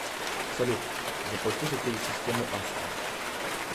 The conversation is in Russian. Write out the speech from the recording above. салют заплати за телесистему астра